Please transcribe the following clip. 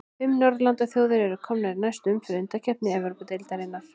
Fimm norðurlandaþjóðir eru komnar í næstu umferð undankeppni Evrópudeildarinnar.